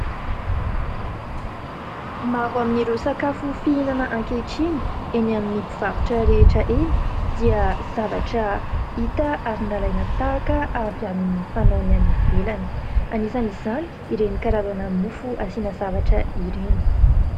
Maro amin'ireo sakafo fihinana ankehitriny eny amin'ny mpivarotra rehetra eny dia zavatra hita ary nalaina tahaka avy amin'ny fanaony any ivelany ; anisany izany ireny karazana ny mofo asiana zavatra ireny.